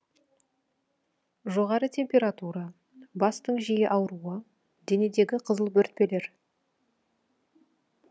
жоғары температура бастың жиі ауруы денедегі қызыл бөртпелер